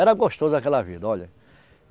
Era gostoso aquela vida, olha.